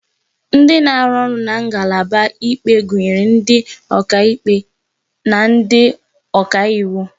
Ndị na-arụ ọrụ na ngalaba ikpe gụnyere ndị ọkaikpe na ndị ọka iwu